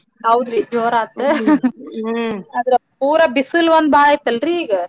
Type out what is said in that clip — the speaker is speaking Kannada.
ಹೌದರೀ ಜೋರಾತು ಆದ್ರ ಪೂರಾ ಬಿಸಲ್ ಒಂದ್ ಬಾಳೈತಲ್ರೀ ಈಗ.